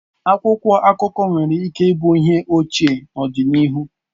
Akwụkwọ akụkọ nwere ike ịbụ ihe ochie n'ọdịnihu.